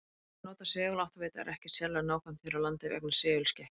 Að nota seguláttavita er ekki sérlega nákvæmt hér á landi vegna segulskekkju.